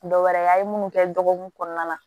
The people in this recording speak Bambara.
Dɔwɛrɛ a ye munnu kɛ dɔgɔkun kɔnɔna la